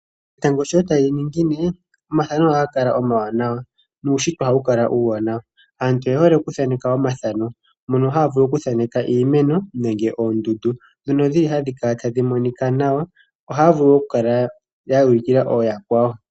Etango sho tali ningine omathano ohaga kala omawanawa, nuushitwe ohawu kala uuwanawa. Aantu oye hole okuthaneka omathano, mono haya vulu okuthaneka iimeno nenge oondundu. Dhono dhi ki hadhi kala tadhi monika nawa, ohaya vulu wo okukala ya ulikila ooyakwawo.